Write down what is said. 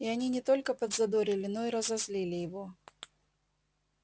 и они не только подзадорили но и разозлили его